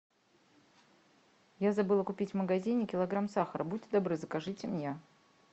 я забыла купить в магазине килограмм сахара будьте добры закажите мне